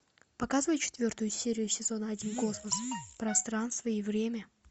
показывай четвертую серию сезона один космос пространство и время